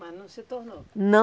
Mas não se tornou? Não